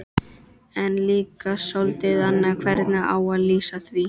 En líka soldið annað hvernig á að lýsa því